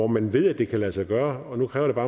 man ved at det kan lade sig gøre og nu kræver